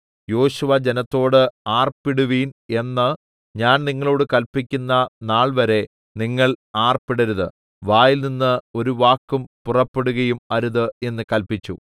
യോശുവ ജനത്തോട് ആർപ്പിടുവിൻ എന്ന് ഞാൻ നിങ്ങളോട് കല്പിക്കുന്ന നാൾവരെ നിങ്ങൾ ആർപ്പിടരുത് വായിൽനിന്ന് ഒരു വാക്കും പുറപ്പെടുകയും അരുത് എന്ന് കല്പിച്ചു